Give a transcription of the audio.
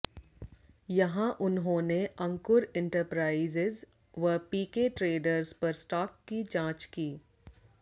यहाँ उन्होंने अंकुर इण्टरप्राइजेज व पीके ट्रेडर्स पर स्टाक की जाँच की